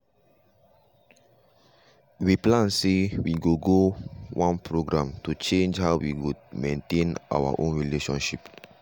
we plan sey we go one program to change how we go maintain own relationship.